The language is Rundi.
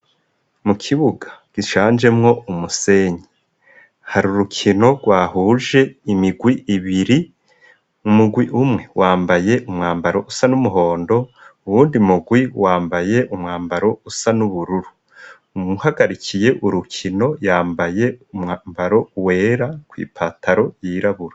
Mu kibuga gishanjemwo umusenyi hari urukino rwahuje imirwi ibiri umurwi umwe wambaye umwambaro usa n'umuhondo, uwundi murwi wambaye umwambaro usa n'ubururu. Uwuhagarikiye urukino yambaye umwambaro wera kw' ipataro y'irabura